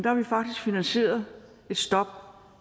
har vi faktisk finansieret et stop